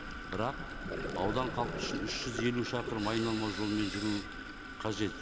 бірақ аудан халқы үшін үш жүз елу шақырым айналма жолмен жүру қажет